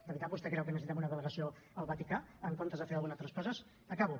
de veritat vostè creu que necessitem una delegació al vaticà en comptes de fer unes altres coses acabo